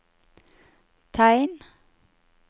tegn